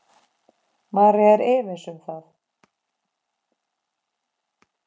María er efins um það.